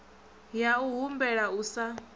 ya u humbela u sa